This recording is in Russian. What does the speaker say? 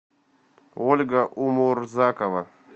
ольга умурзакова